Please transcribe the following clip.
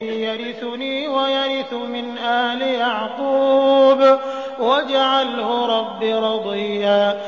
يَرِثُنِي وَيَرِثُ مِنْ آلِ يَعْقُوبَ ۖ وَاجْعَلْهُ رَبِّ رَضِيًّا